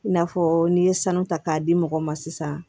I n'a fɔ n'i ye sanu ta k'a di mɔgɔw ma sisan